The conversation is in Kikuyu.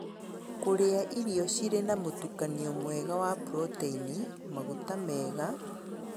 Kũrĩa irio cirĩ na mũtukanio mwega wa proteini, maguta mega